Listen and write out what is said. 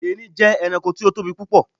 Erin jé̩ e̩ranko tí ó tóbi púpò̩.